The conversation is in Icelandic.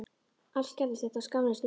Allt gerðist þetta á skammri stundu.